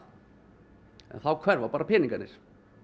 en þá hverfa bara peningarnir